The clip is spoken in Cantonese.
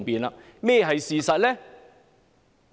甚麼是事實呢？